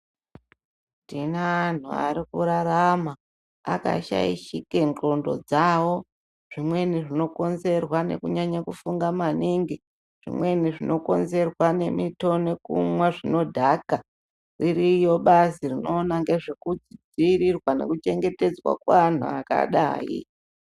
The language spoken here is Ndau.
Tine anhu ari kurarama, akashaishike ndxondo dzavo . Zvimweni zvinokonzerwa nekunyanye kufunga maningi, zvimweni zvinokonzerwa nemito nekumwa zvinodhaka. Ririyo bazi rinoona ngezvekudziirira nekuchengetedzwa kweanhu akadai.